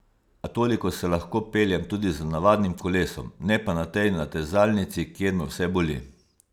A toliko se lahko peljem tudi z navadnim kolesom, ne pa na tej natezalnici, kjer me vse boli.